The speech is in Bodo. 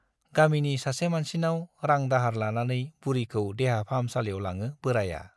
गामिनि सासे मानसिनाव रां दाहार लानानै बुरिखौ देहा फाहामसालियाव लाङो बोराया।